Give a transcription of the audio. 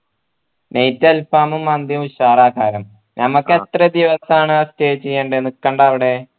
night അൽഫാമും മന്തിയും ഉഷാർ ആഹാര ഞമ്മക്ക് എത്ര ദിവസാണ് stay ചെയ്യണ്ടേ നിക്കണ്ടേ അവിടെ